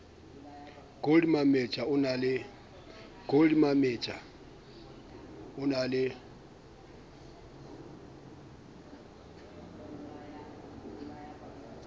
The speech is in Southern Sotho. gold mametja o na le